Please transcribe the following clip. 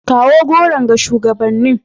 Kawo goron ga shugabannin.